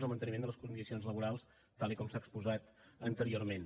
el manteniment de les condicions laborals tal com s’ha exposat anteriorment